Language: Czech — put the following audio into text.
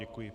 Děkuji.